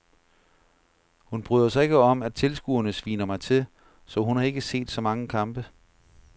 Hun bryder sig ikke om at tilskuerne sviner mig til, så hun har ikke set så mange kampe.